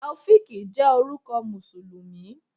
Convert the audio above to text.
Taofiq jẹ́ orúkọ Mùsùlùmí.